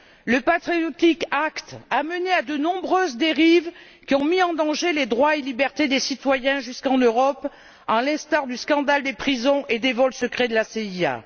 le Patriotic Act a mené à de nombreuses dérives qui ont mis en danger les droits et libertés des citoyens jusqu'en Europe, à l'instar du scandale des prisons et des vols secrets de la CIA.